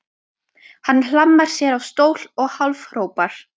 Hann hlammar sér á stól og hálfhrópar